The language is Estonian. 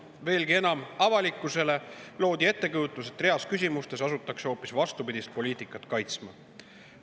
Veelgi enam, avalikkusele loodi ettekujutus, et reas küsimustes asutakse hoopis vastupidist poliitikat kaitsma.